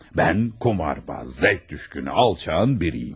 Mən qumarbaz, zövq düşkünü, alçağın biriyəm.